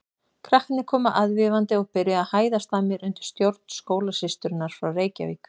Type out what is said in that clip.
Krakkarnir komu aðvífandi og byrjuðu að hæðast að mér undir stjórn skólasysturinnar frá Reykjavík.